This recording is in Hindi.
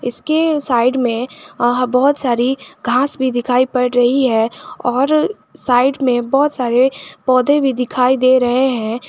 इसके साइड में बहोत सारी घास भी दिखाई पड़ रही है और साइड में बहोत सारे पौधे भी दिखाई दे रहे हैं।